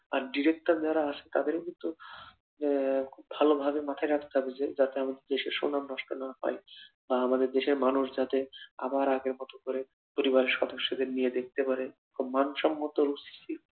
আর Director যারা আছে তাদের তো আহ খুব ভালোভাবে মাথায় রাখতে হবে যে দেশের সম্মান নষ্ট না হয় আর দেশের মানুষ আবার আগের মতো করে পরিবার সদস্যকে নিয়ে দেখতে পারে আর মান সম্মত